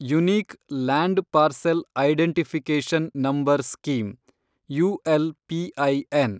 unique land parcel identification number scheme (ULPIN)